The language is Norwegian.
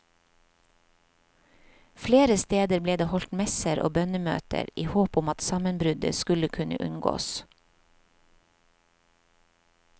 Flere steder ble det holdt messer og bønnemøter i håp om at sammenbruddet skulle kunne unngås.